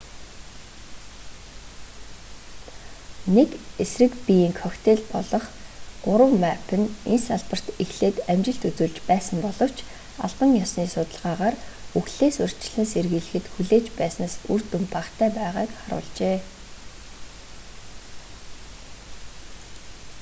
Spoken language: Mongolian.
нэг эсрэг биеийн коктейл болох змапп нь энэ салбарт эхлээд амжилт үзүүлж байсан боловч албан ёсны судалгаагаар үхлээс урьдчилан сэргийлэхэд хүлээж байснаас үр дүн багатай байгааг харуулжээ